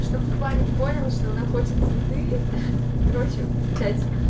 чтобы парень понял что она хочет цветы ха короче блять